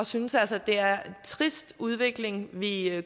synes altså det er en trist udvikling vi er